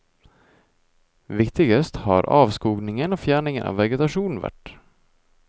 Viktigst har avskoging og fjerning av vegetasjon vært.